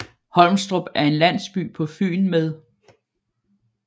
Holmstrup er en landsby på Fyn med